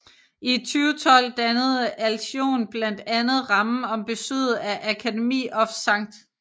I 2012 dannede Alsion blandt andet rammen om besøget af Academy of St